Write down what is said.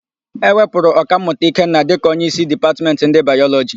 E wepụrụ Ọkammụta Ikenna dịka onyeísí Dipatmentị ndị Bayọlọjị.